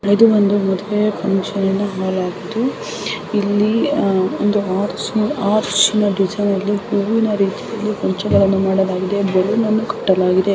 ಇದು ಒಂದು ಮದುವೆಯ ಫಂಕ್ಷನ್ ಹಾಲ್ ಆಗಿದೆ ಇಲ್ಲಿ ಒಂದು ಅರ್ಚ್ ಅರ್ಚಿ ನ ಡಿಸೈನ್ ಅಲ್ಲಿ ಹೂವಿನ ರೀತಿಯಲ್ಲಿ ಗೊಂಚಗಳನ್ನು ಮಾಡಲಾಗಿದೆ ಬಲೂನ ಅನ್ನು ಕಟ್ಟಲಾಗಿದೆ.